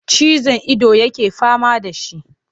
Ciwon ido yake fama da shi.